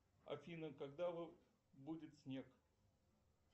афина когда будет снег